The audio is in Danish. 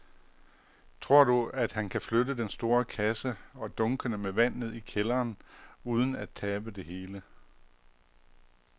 Tror du, at han kan flytte den store kasse og dunkene med vand ned i kælderen uden at tabe det hele?